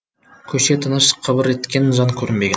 көше тыныш қыбыр еткен жан көрінбеген